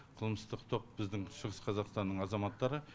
қылмыстық топ біздің шығыс қазақстанның азаматтары